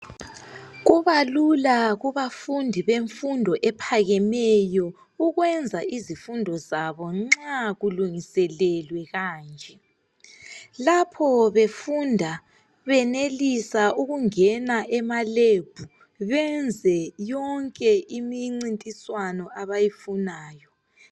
Kubalula kubafundi abenza umfundo ephakemeyo nxa kulungiselelwe kanje lapho befunda benelisa ukungena kumalab benze yonke imicintiswano abayifunayo